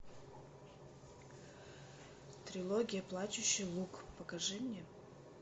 трилогия плачущий луг покажи мне